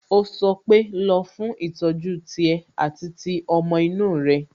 Ó sọ pé "Lọ fún ìtọ́jú tiẹ̀ àti ti ọmọ inú rẹ"